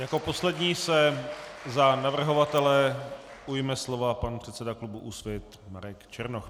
Jako poslední se za navrhovatele ujme slova pan předseda klubu Úsvit Marek Černoch.